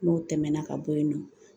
N'o tɛmɛna ka bɔ yen nɔ